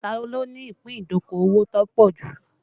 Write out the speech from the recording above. Ta ló ní ìpín ìdókòwò tó pọ̀ jù?